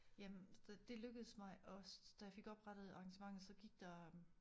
Jamen så det lykkedes mig og så da jeg fik oprettet arrangementet så gik der